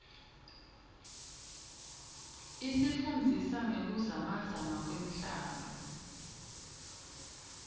isifundzisa ngekuzamazama kwemhlaba